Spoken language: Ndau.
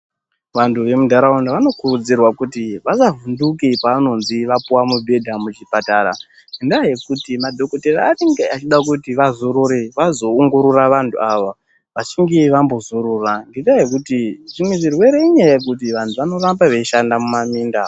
Vantu vembunharaunda vanokurudzirwa kuti vasavhunduke paanonzi apiwe mibhedha muchipatara ngendaa yekuti madhokodheya vanenge vachida kuti vazorore vazoongorore vantu ava vachinge vambozorora ngendaa yekuti zvimwe zvirwere indaa yekuti vantu vanoramba veishanda mumaminda.